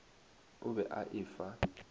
o be a e fa